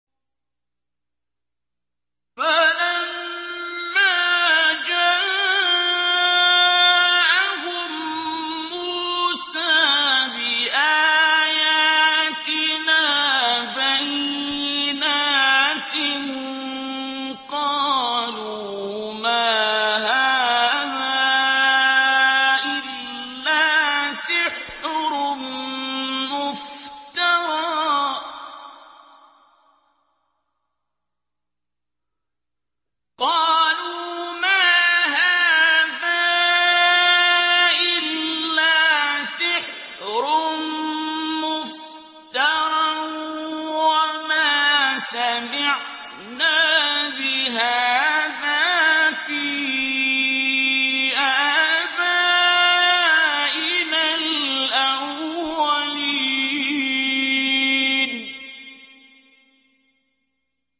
فَلَمَّا جَاءَهُم مُّوسَىٰ بِآيَاتِنَا بَيِّنَاتٍ قَالُوا مَا هَٰذَا إِلَّا سِحْرٌ مُّفْتَرًى وَمَا سَمِعْنَا بِهَٰذَا فِي آبَائِنَا الْأَوَّلِينَ